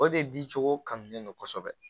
O de di cogo kannen no kosɛbɛ